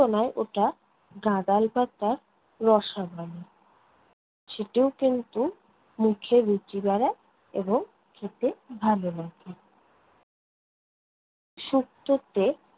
নয় ওটা গাঁদাল পাতা রসা বলে। সেটিও কিন্তু মুখে রুচি বাড়ায় এবং খেতে ভালো লাগে। শুক্তোতে